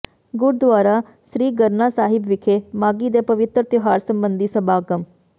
ਗੁਰਦੁਆਰਾ ਸ੍ਰੀ ਗਰਨਾ ਸਾਹਿਬ ਵਿਖੇ ਮਾਘੀ ਦੇ ਪਵਿੱਤਰ ਤਿਉਹਾਰ ਸਬੰਧੀ ਸਮਾਗਮ